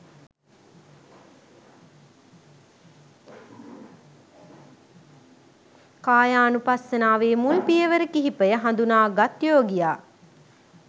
කායානුපස්සනාවේ මුල් පියවර කිහිපය හඳුනාගත් යෝගියා